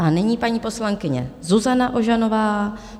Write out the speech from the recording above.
A nyní paní poslankyně Zuzana Ožanová.